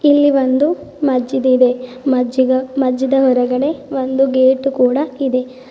ಇಲ್ಲಿ ಒಂದು ಮಜ್ಜಿದ್ ಇದೆ ಮಜ್ಜಿದ ಮಜ್ಜಿದ್ ಹೊರಗಡೆ ಒಂದು ಗೇಟ್ ಕೂಡ ಇದೆ.